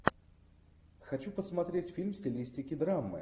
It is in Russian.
хочу посмотреть фильм в стилистике драмы